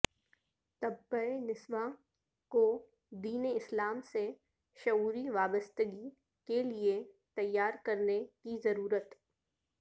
طبقہ نسواں کودین اسلام سے شعوری وابستگی کےلیے تیار کرنے کی ضرورت